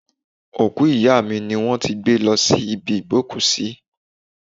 Òkú ìyá mi ni wón ti gbé lọ sí ibi ìgbókùsí.